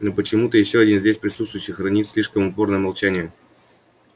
но почему-то ещё один здесь присутствующий хранит слишком упорное молчание